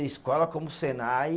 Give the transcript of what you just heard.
E escola como o Senai